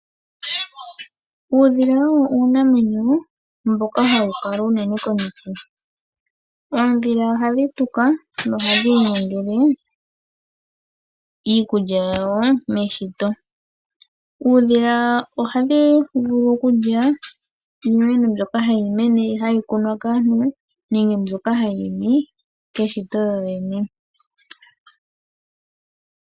Uudhila owo uunamwenyo mboka ha wukala unene komiti, oondhila ohadhi tuka noha dhiinyangele iikulya yawo meshito. Uudhila ohadhi vulu kulya iinemo mbyoka hayi mene hayi kunwa kaantu nenge mbyoka hayi imi keshito yo yene.